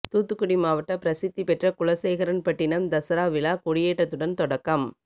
தூத்துக்குடி மாவட்ட பிரசித்தி பெற்ற குலசேகரன்பட்டினம் தசரா விழா கொயேற்றத்துடன் தொடக்கம்